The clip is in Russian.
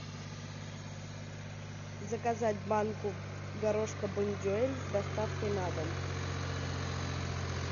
заказать банку горошка бондюэль с доставкой на дом